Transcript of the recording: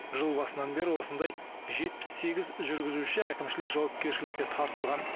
жыл басынан бері осындай жетпіс сегіз жүргізуші әкімшілік жауапкершілікке тартылған